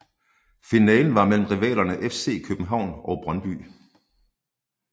Finalen var mellem rivalerne FC København og Brøndby